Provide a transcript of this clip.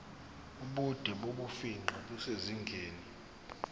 ubude bokufingqa kusezingeni